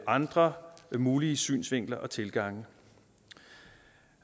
andre mulige synsvinkler og tilgange